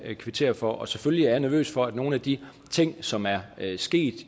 kvittere for og selvfølgelig er jeg nervøs for nogle af de ting som er sket